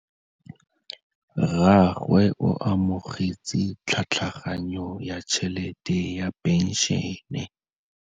Rragwe o amogetse tlhatlhaganyô ya tšhelête ya phenšene.